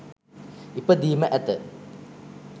ඉපදීම ඇත.